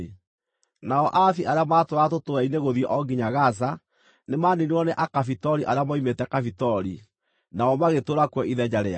Nao Aavi arĩa maatũũraga tũtũũra-inĩ gũthiĩ o nginya Gaza, nĩmaniinirwo nĩ Akafitori arĩa moimĩte Kafitori, nao magĩtũũra kuo ithenya rĩao.)